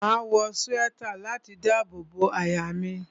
Máa wọ swẹ́tà láti dábò bo àyà mi.